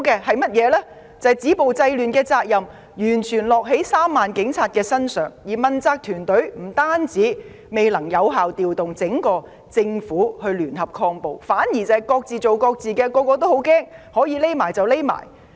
他們看到止暴制亂的責任完全由3萬名警察承擔，問責團隊不但未能有效調動整個政府聯合抗暴，反而各自為政，人人自危，可以躲起來便躲起來。